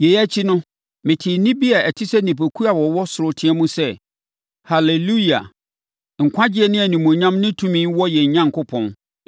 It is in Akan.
Yei akyi no, metee nne bi te sɛ nnipakuo a wɔwɔ ɔsoro reteam sɛ, “Haleluia! Nkwagyeɛ ne animuonyam ne tumi wɔ yɛn Onyankopɔn,